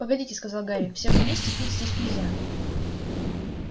погодите сказал гарри всем вместе пить здесь нельзя